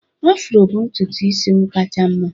Afro bụ ntutu isi m kacha mma